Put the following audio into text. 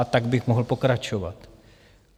A tak bych mohl pokračovat.